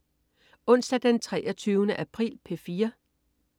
Onsdag den 23. april - P4: